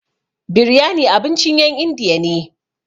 Biryani abincin ƴen indiya ne.